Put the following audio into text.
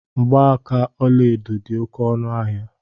Mgbaaka ọlaedo di oké ọnu ahia